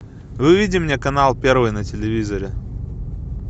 выведи мне канал первый на телевизоре